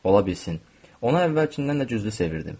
Ola bilsin ona əvvəlkindən də güclü sevirdim.